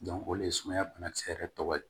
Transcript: o de ye sumaya banakisɛ yɛrɛ tɔgɔ ye